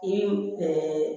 I